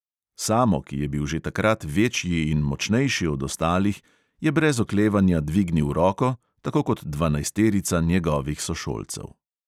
Samo, ki je bil že takrat večji in močnejši od ostalih, je brez oklevanja dvignil roko, tako kot dvanajsterica njegovih sošolcev.